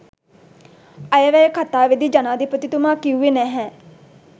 අයවැය කතාවේදී ජනාධිපතිතුමා කිව්වේ නැහැ.